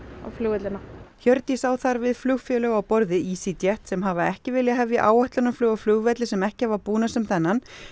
á flugvellina Hjördís á þar við flugfélög á borð við sem hafa ekki viljað hefja áætlunarflug á flugvelli sem ekki hafa búnað sem þennan